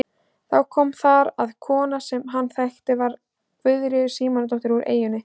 Þá kom þar að kona sem hann þekkti að var Guðríður Símonardóttir úr eyjunni.